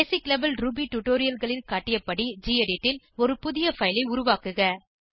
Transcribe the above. பேசிக் level Ruby tutorialகளில் காட்டியபடி gedit ல் ஒரு புதிய பைல் ஐ உருவாக்குக